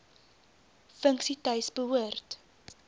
funksie tuis hoort